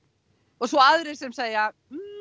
og svo aðrir sem segja